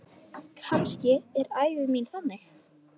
Kannski er ævi mín þannig.